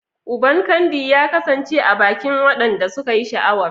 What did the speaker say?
Uban Candy ya kasance a bakin wadanda suka yi sha'awar.